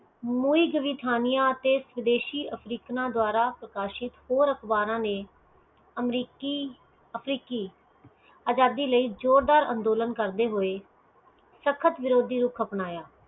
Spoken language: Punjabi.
ਸਵਦੇਸ਼ੀ ਅਫਰੀਕਨ ਦੁਵਾਰਾ ਪ੍ਰਕਾਸ਼ਿਤ ਹੋਰ ਅਖਬਾਰਾਂ ਨੇ ਅਮਰੀਕੀ ਅਫਰੀਕੀ ਅਜਾਦੀ ਲਈ ਜ਼ੋਰ ਦਾਰ ਅੰਦੋਲਨ ਕਰਦੈ ਹੋਏ ਸਖਤ ਵਿਰੋਧੀ ਰੂਪ ਅਪਣਾਇਆ